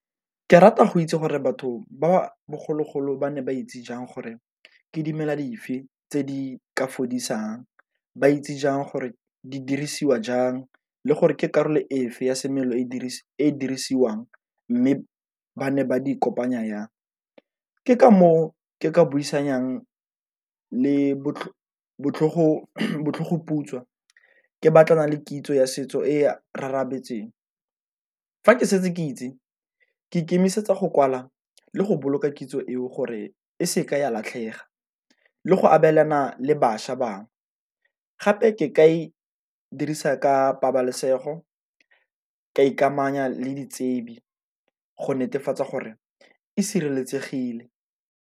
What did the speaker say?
Ke rata go itse gore batho ba bogologolo ba ne ba itse jang gore ke dimela dife tse di ka fodisang, ba itse jang gore di dirisiwa jang, le gore ke karolo efe ya semelo e dirise e dirisiwang mme ba ne ba di kopanya yang. Ke ka moo ke ka moo ke ka buisanang le botlhogoputswa, ke batlana le kitso ya setso e . Fa ke setse ke itse ke ikemisetsa go kwala le go boloka kitso eo gore e seke ya latlhega le go abelana le bašwa bangwe, gape ke ka e dirisa ka pabalesego ka ikamanya le ditsebi go netefatsa gore e sireletsegile.